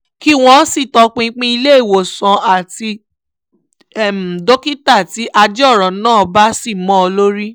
kí wọ́n sì tọpinpin ilé ìwòsàn àti dókítà tí ajé ọ̀rọ̀ náà bá ṣì mọ́ lórí